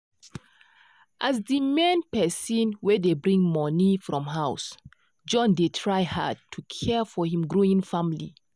as di main person wey dey bring money for house john dey try hard to care for him growing family.